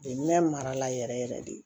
Ɲɛ marala yɛrɛ yɛrɛ de